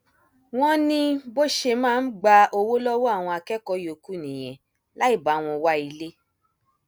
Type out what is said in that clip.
wọn ní bó ṣe máa ń gba owó lọwọ àwọn akẹkọọ yòókù nìyẹn láì bá wọn wá ilé